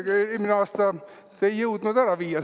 Eelmine aasta te ei jõudnud seda ära viia.